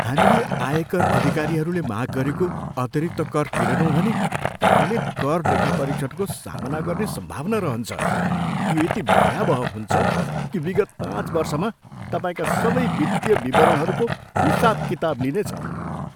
हामीले आयकर अधिकारीहरूले माग गरेको अतिरिक्त कर तिरेनौँ भने तपाईँले कर लेखापरीक्षणको सामना गर्ने सम्भावना रहन्छ। यो यति भयावह हुन्छ कि विगत पाँच वर्षमा तपाईँका सबै वित्तीय विवरणहरूको हिसाबकिताब लिनेछ।